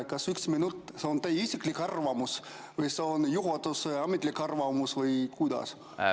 Kas üks minut on teie isiklik arvamus või on see juhatuse ametlik arvamus või kuidas?